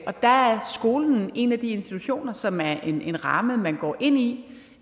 og der er skolen en af de institutioner som er en ramme man går ind i